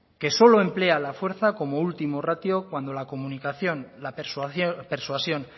que solo emplea la fuerza como último ratio cuando la comunicación la persuasión